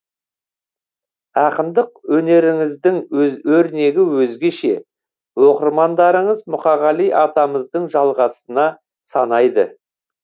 ақындық өнеріңіздің өрнегі өзгеше оқырмандарыңыз мұқағали атамыздың жалғасына санайды